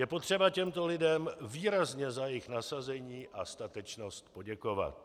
Je potřeba těmto lidem výrazně za jejich nasazení a statečnost poděkovat.